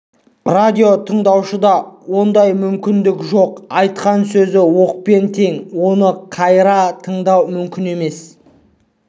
радио тыңдаушыда ондай мүмкіндік жоқ айтқан сөз оқпен тең оны қайыра тыңдау мүмкін емес